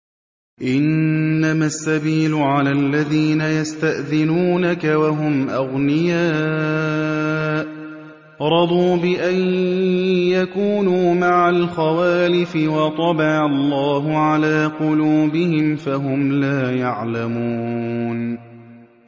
۞ إِنَّمَا السَّبِيلُ عَلَى الَّذِينَ يَسْتَأْذِنُونَكَ وَهُمْ أَغْنِيَاءُ ۚ رَضُوا بِأَن يَكُونُوا مَعَ الْخَوَالِفِ وَطَبَعَ اللَّهُ عَلَىٰ قُلُوبِهِمْ فَهُمْ لَا يَعْلَمُونَ